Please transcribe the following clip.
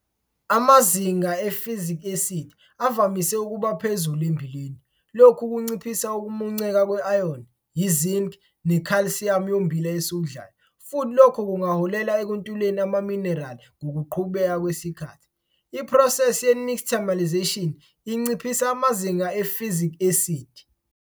Amazinga e-phytic esidi avamise ukuba phezulu emmbileni. Lokhu kunciphisa ukumunceka kwe-iron, i-zinc nekhalsiyamu yommbila esiwudlayo futhi lokho kungaholela ekuntuleni amaminerali ngokuqhubeka kwesikhathi. Iphrosesi ye-nixtamalisation inciphisa amazinga e-phytic esidi.